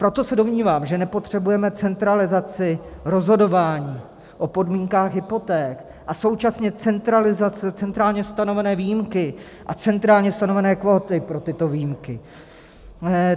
Proto se domnívám, že nepotřebujeme centralizaci rozhodování o podmínkách hypoték a současně centrálně stanovené výjimky a centrálně stanovené kvóty pro tyto výjimky.